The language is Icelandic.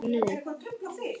Nei, ég held nú síður.